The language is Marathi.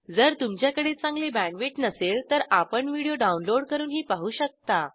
जर तुमच्याकडे चांगली बॅण्डविड्थ नसेल तर आपण व्हिडिओ डाउनलोड करूनही पाहू शकता